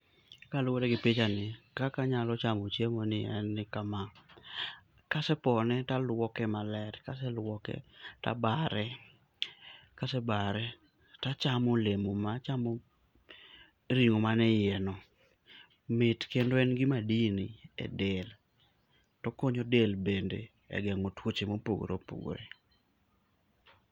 Kaluore gi pichani kaka anyalo chiemo ni en kama, ka asepone to aluoke maler, kaseluoke tabare, kasebare tachamo olemo ma, achamo ringo manie iye no, mit kendo en gi madini e del, tokonyo del bende e gengo tuoche ma opogore opogore.